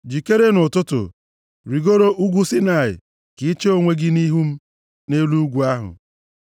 Jikere nʼụtụtụ, rigoro ugwu Saịnaị ka i chee onwe gị nʼihu m nʼelu ugwu ahụ.